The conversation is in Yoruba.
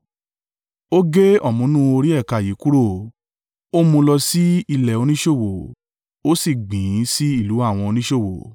ó gé ọ̀mùnú orí ẹ̀ka yìí kúrò, ó mú un lọ sí ilẹ̀ oníṣòwò, ó sì gbìn ín sí ìlú àwọn oníṣòwò.